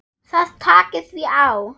Það taki því á.